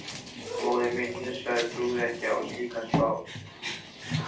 Móðir mín hnussaði, trúði ekki á slíkar spár.